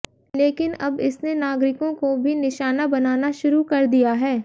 लेकिन अब इसने नागरिकों को भी निशाना बनाना शुरू कर दिया है